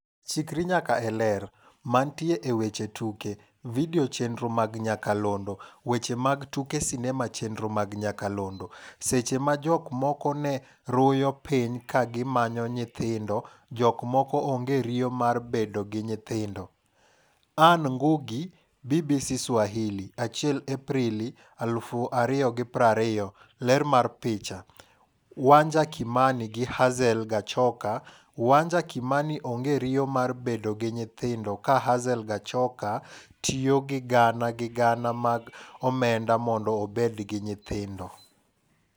Chikri nyaka e Ler. Mantie e weche tuke. Video chenro mag nyakalondo. Weche mag tuke sinema chenro mag nyakalondo. Seche ma jok moko ne ruyo piny ka gi manyo nyithindo jok moko onge riyo mar bedo gi nyithindo. Anne Ngugi ,BBC Swahili ,1 Aprili 2020.Ler mar picha, Wanja Kimani gi Hazel Gachoka. Wanja Kimani onge riyo mar bedo gi nyithindo ka Hazel Gachoka tiyo gi gana gi gana mag omenda mondo obed gi nyithindo.